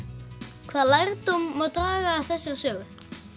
hvað lærdóm má draga af þessari sögu